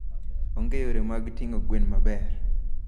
Onge yore mag ting'o gwen maber.